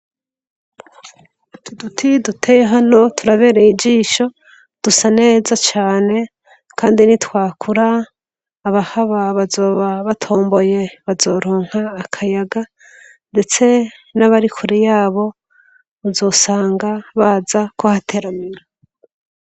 Duduti duteye hano turabereye ijisho dusa neza cane, kandi ni twakura aba haba bazoba batomboye bazoronka akayaga, ndetse n'abari kuri yabo uzosanga baza ko hateramira.